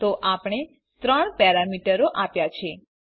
તો આપણે ત્રણ પેરામીટરો આપ્યા છે